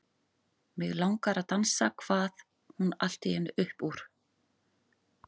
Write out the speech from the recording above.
Mig langar að dansa kvað hún allt í einu upp úr.